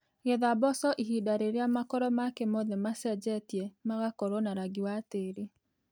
Getha mboco ihinda rĩrĩa makoro make mothe macenjetie mũgakorwo na rangi wa tĩĩri.